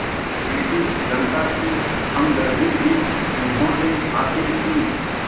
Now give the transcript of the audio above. British जनता की हमदर्दी भी उन्होंने हासिल की